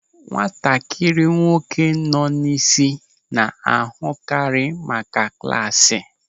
Nwatakịrị nwoke nọ n'isi na-ahụkarị maka klasị.